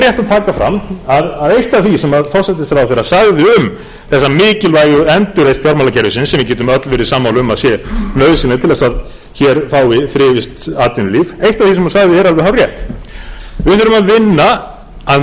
taka fram að eitt af því sem forsætisráðherra sagði um þessa mikilvægu endurreisn fjármálakerfisins sem við getum öll verið sammála um að sé nauðsynleg til þess að hér fái þrifist atvinnulíf eitt af því sem hún sagði er alveg hárrétt við þurfum að vinna af meiri krafti en nokkru sinni